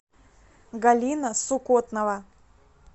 галина сукотнова